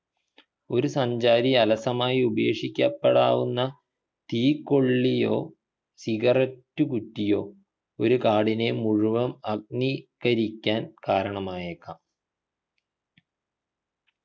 ഒരു സഞ്ചാരി അലസമായി ഉപേക്ഷിക്കപ്പെടാവുന്ന തീക്കൊള്ളിയോ ciggarette കുറ്റിയോ ഒരു കാടിനെ മുഴുവൻ അഗ്നിക്കരിക്കാൻ കാരണമായേക്കാം